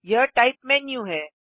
यह type menu है